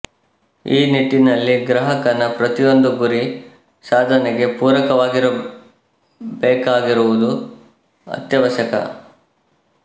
ಈ ನಿಟ್ಟಿನಲ್ಲಿ ಗ್ರಾಹಕನ ಪ್ರತಿಯೊಂದು ಗುರಿ ಸಾಧನೆಗೆ ಪೂರಕವಾಗಿರಬೇಕಾಗಿರುವುದು ಅತ್ಯವಶ್ಯಕ